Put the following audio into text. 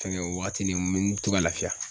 Fɛngɛ o waatini n me me to ka lafiya